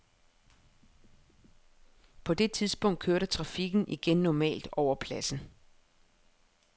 På det tidspunkt kørte trafikken igen normalt over pladsen.